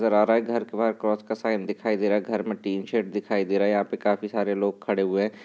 घर के बाहर क्रॉस का साइन दिखाई दे रहा। घर में टीन शेड दिखाई दे रहा। यहाँ पे काफी सारे लोग खड़े हुए --